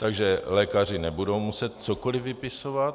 Takže lékaři nebudou muset cokoliv vypisovat.